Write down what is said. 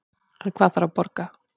En hvað þarf að borga